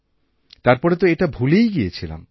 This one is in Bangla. তারপরেতো এটা ভুলেই গিয়েছিলাম